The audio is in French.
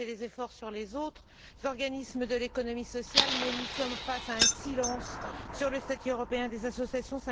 Elle a fait des efforts pour les autres organismes de l'économie sociale mais nous sommes face à un silence sur le statut européen des associations